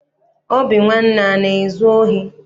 Obinwanne ana ezu ohi?